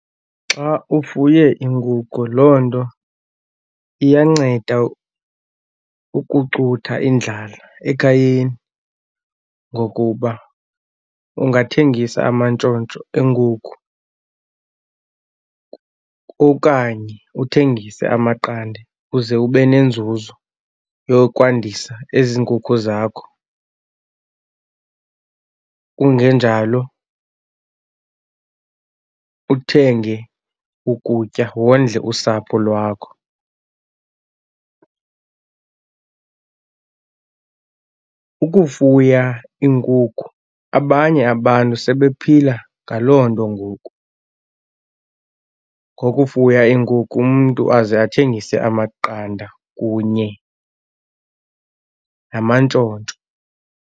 Xa ufuye iinkukhu loo nto iyanceda ukucutha indlala ekhayeni ngokuba ungathengisa amantshontsho eenkukhu okanye uthengise amaqanda uze ube nenzuzo yokwandisa ezi nkukhu zakho, kungenjalo uthenge ukutya wondle usapho lwakho. Ukufuya iinkukhu abanye abantu sebephila ngaloo nto ngoku, ngokufuya iinkukhu. Umntu aze athengise amaqanda kunye namantshontsho.